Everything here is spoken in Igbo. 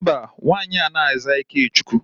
Mba, nwaanyị anaghi aza Ikechukwu.